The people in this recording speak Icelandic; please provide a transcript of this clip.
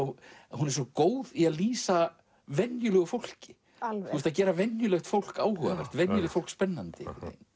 hún er svo góð í að lýsa venjulega fólki að gera venjulegt fólk áhugavert venjulegt fólk spennandi